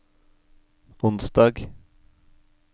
onsdag